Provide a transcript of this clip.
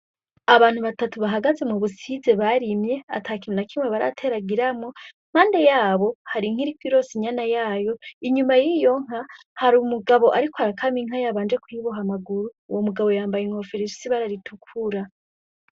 Abantu batatu bahagaze mubusize barimye atakintu nakimye barateragiramwo impande yabo hari Inka iriko ironsa inyana yayo inyuma yiyo Inka hari umugabo ariko akamwa Inka yabanje kuyiboha amaguru uwo mugabo yambaye inkofero ifise ibara ritukura.